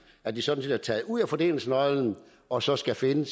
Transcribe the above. at de sådan set er taget ud af fordelingsnøglen og så skal finde